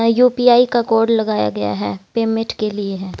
UPI का code लगाया गया है पेमेट के लिए है।